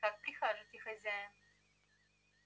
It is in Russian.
как прикажете хозяин